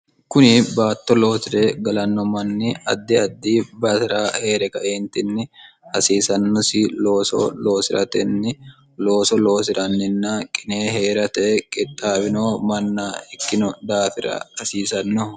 kuni baatto loosire galanno manni addi addi basira hee're kaeentinni hasiisannosi looso loosi'ratenni looso loosi'ranninna qine hee'rate qixxaabino manna ikkino daafira rasiisannoho